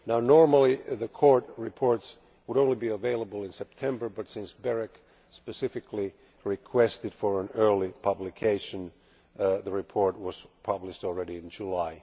Normally the Court reports would only be available in September, but since BEREC specifically requested early publication the report was published in July.